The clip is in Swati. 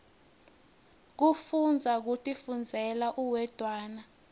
kufundza kutifundzela uwedwana